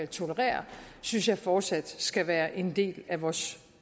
tolerere synes jeg fortsat skal være en del af vores